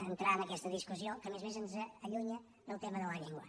entrar en aquesta discussió que a més a més ens allunya del tema de la llengua